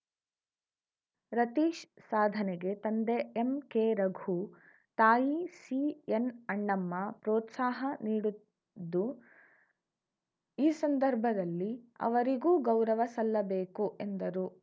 ರತೀಶ್‌ ಸಾಧನೆಗೆ ತಂದೆ ಎಂಕೆರಘು ತಾಯಿ ಸಿಎನ್‌ಅಣ್ಣಮ್ಮ ಪ್ರೋತ್ಸಾಹ ನೀಡುದ್ದು ಈ ಸಂದರ್ಭದಲ್ಲಿ ಅವರಿಗೂ ಗೌರವ ಸಲ್ಲಿಸಬೇಕು ಎಂದರು